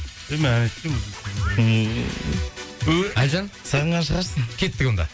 жоқ мен ән айтпаймын әлжан сағынған шығарсың кеттік онда